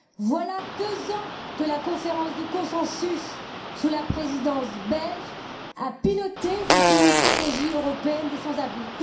Voilà deux ans que la conférence de consensus, sous la Présidence belge, a piloté justement une stratégie européenne des sans abris.